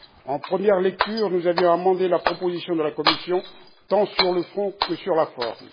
En première lecture, nous avions amendé la proposition de la Commission tant sur le fond que sur la forme.